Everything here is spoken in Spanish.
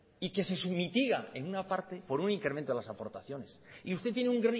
y que se sumitiga en una parte por un incremento de las aportaciones y usted tiene un